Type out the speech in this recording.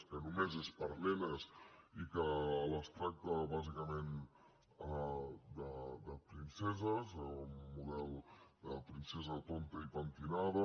que només és per a nenes i que les tracta bàsicament de princeses amb un model de princesa tonta i pentinada